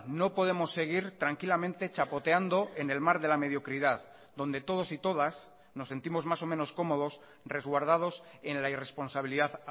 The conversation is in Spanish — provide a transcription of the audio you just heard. no podemos seguir tranquilamente chapoteando en el mar de la mediocridad donde todos y todas nos sentimos más o menos cómodos resguardados en la irresponsabilidad